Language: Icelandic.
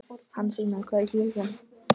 Hansína, hvað er klukkan?